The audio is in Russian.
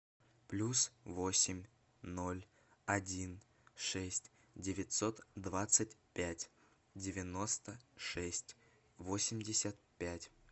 плюс восемь ноль один шесть девятьсот двадцать пять девяносто шесть восемьдесят пять